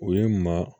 U ye maa